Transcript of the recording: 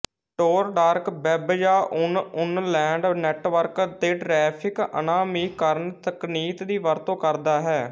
ਟੋਰ dark web ਜਾਂ onionland network ਦੇ traffic ਅਨਾਮੀਕਰਣ ਤਕਨੀਕ ਦੀ ਵਰਤੋਂ ਕਰਦਾ ਹੈ